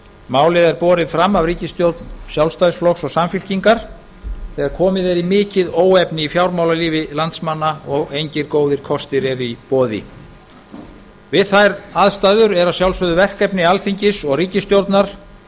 málið er borið fram af ríkisstjórn sjálfstæðisflokks og samfylkingar þegar komið er í mikið óefni í fjármálalífi landsmanna og engir góðir kostir eru í boði við þær aðstæður er að sjálfsögðu verkefni alþingis og ríkisstjórnar